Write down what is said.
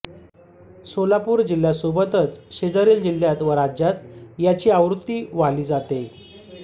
सोलापूर जिल्हया सोबतच शेजारील जिल्ह्यात व राज्यात याची आवृत्ती वाली जाते